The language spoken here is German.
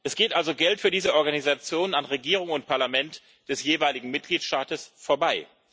Es geht also Geld für diese Organisationen an Regierung und Parlament des jeweiligen Mitgliedstaats vorbei.